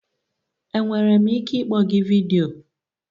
Enwere m ike ịkpọ gị vidiyo?